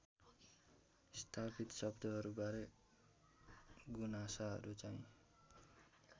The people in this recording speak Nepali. स्थापित शब्दहरूबारे गुनासाहरूचाहिँ